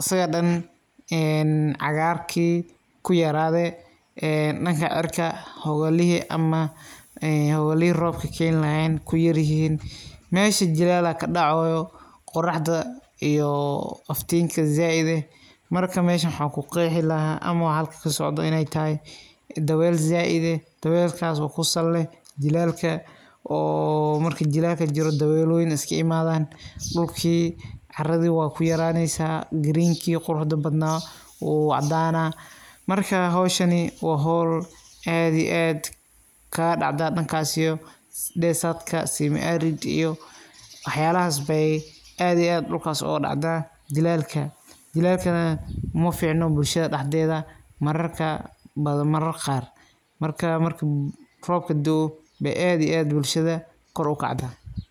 asigan dhan cagaarkii ku yaraade dhanka cirka hogolihii ama hogolihii roobka keeni lahaayeen kuyar yihiin meesha jilaala kadhacooyo qoraxda iyo aftiinka saaid eh marka meesha waxa kuqeexi lahaa ama wax halka kasodo ineey tahay dabeel saaid eh dabeel aaso kusal leh jilaalka oo marka jilaaka jiro dabeelooyin iska imaadaan dhulkii carada waa kuyaraaneysa giriinkii quruxda badnaa wuu cadaana marka howshani waa hoo aad iyo aad kadhacda dhankaasi iyo dhesatka samiarid waxa yaalahas bee aad iyo aad dhulkaas uga dhacda jilaalka jilaalka uma fiicno bulshada dhaxdeeda mararka badan mararka qaar marka roobka da'o aad iyo aad bulshada kor ukacdaa.